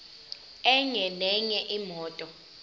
enye nenye imoto